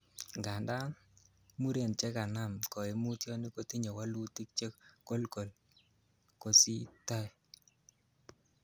Ngandan, muren chekanam koimutioni kotinye wolutik chekokol kosiw tie.